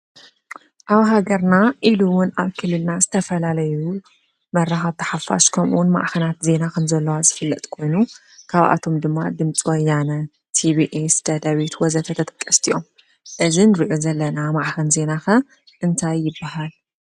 ኣብ ሃገርና ኢሉ እውን ኣብ ክልልና ዝተፈላለዩ መራኸብቲ ሓፋሽ ከምኡ እውን ማዕኸናት ዜና ዝፍለጥ ኮይኑ ካብኣቶም ድማ ድምፂ ወያነ፣ ቲቢኤስ፣ ደደቢት ወዘተ ተጠቀስቲ እዮም። እዚ እንሪኦ ዘለና ማዕከን ዜና ከ እንታይ ይበሃል?